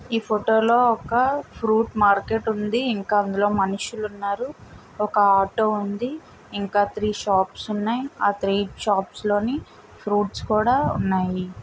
ఈ ఫోటో లో ఒక ఫ్రూట్ మార్కెట్ ఉంది ఇంకా అందులో మనుషులు ఉన్నారు ఒక ఆటో ఉంది ఇంకా త్రీ షాప్ స్ ఉన్నాయి ఆ త్రీ షాప్ స్ లోని ఫ్రూట్ స్ కూడా ఉన్నాయి.